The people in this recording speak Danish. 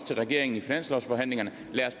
til regeringen i finanslovsforhandlingerne